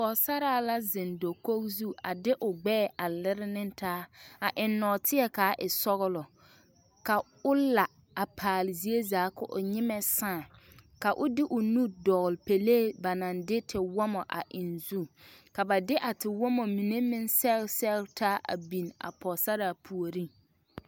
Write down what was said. Pɔgesaraa la zeŋ dakogi zu a de o gbɛɛ a lere ne taa a eŋ nɔɔteɛ ka a e sɔglɔ ka o la a paale zie zaa ka o nyimɛ saa ka o de o nu dɔgle pelee ba naŋ de tewɔmɔ a eŋ o zu ka ba de a tewɔmɔ mine meŋ sɛgre sɛgre taa a biŋ a pɔgesaraa puoriŋ.